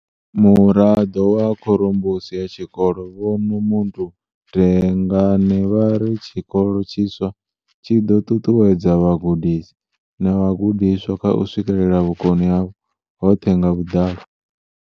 Muraḓo wa khorombusi ya tshikolo, Vho Nomuntu Dlengane, vha ri tshikolo tshiswa tshi ḓo ṱuṱuwedza vhagudisi na vhagudiswa kha u swikelela vhukoni havho hoṱhe nga vhuḓalo.